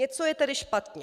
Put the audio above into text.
Něco je tedy špatně.